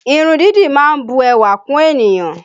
Irun dídì má ń bu ẹwà kún ènìyàn